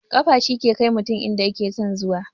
Kafa shi ke kai mutum inda yake son zuwa